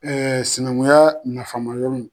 sinankunya nafama yɔrɔ